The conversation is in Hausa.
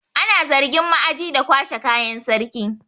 Ana zargin ma'aji da kwashe kayan sarki.